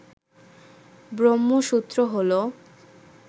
ব্রহ্মসূত্র হল